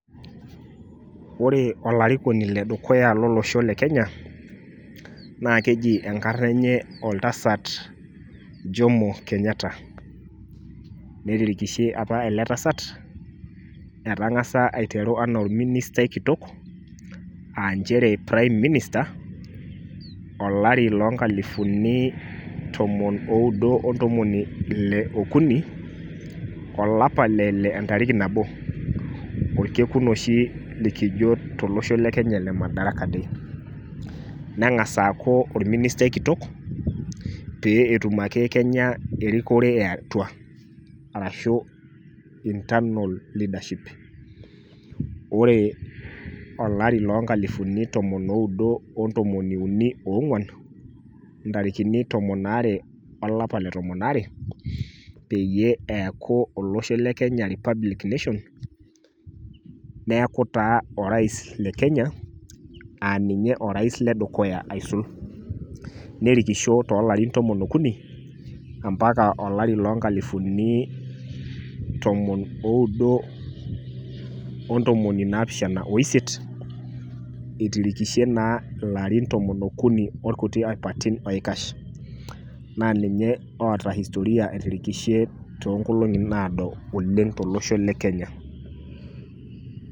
Ore olarikoni ledukuya lolosho le kenya naa keji enkarna enye , oltasat jomo kenyatta . Netirikishe apa ele tasat , etangasa aiteru anaa orministai kitok aanchere prime minister, olari loo nkalifuni tomon oudo ontomoni ile okuni , olapa le ile entariki nabo orkekun oshi likijo tolosho le kenya madaraka day. Nengas aaku orministai kitok pee etum ake kenya erikore eatua arashu internal leadership ]cs] . Ore olari loo nkalifuni tomon oudo ontomoni uni oongwani , ntarikini tomon aare olapa le tomon aare peyie eaku olosho le kenya republic nation, neaku taa orais le kenya aa ninye orais ledukuya aisul. Nerikisho tolarin tomon okuni ampaka olari loo nkalifuni tomon oudo ontomoni naapishana oisiet itirikishe naa ilarin tomon okuni orkuti apaitin oikash. Naa ninye oota historia etirikishe toonkolongi naado oleng tolosho le kenya.